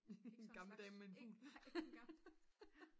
ikke en gammel dame med en fugl